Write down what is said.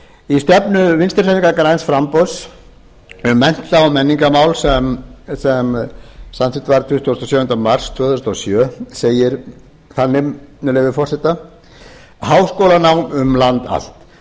í stefnu vinstri hreyfingarinnar græns framboðs um mennta og menningarmál sem samþykkt var tuttugasta og sjöunda mars tvö þúsund og sjö segir þannig með leyfi forseta háskólanám um land allt